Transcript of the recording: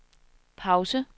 pause